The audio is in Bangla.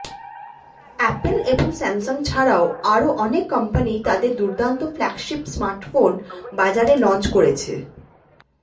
অ্যাপল এবং স্যামসাং ছাড়াও আরও অনেক কোম্পানি তাদের দুর্দন্ত ফ্ল্যাগশিপ স্মার্টফোন বাজারে লঞ্চ করেছে